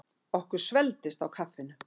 Okkur svelgdist á kaffinu.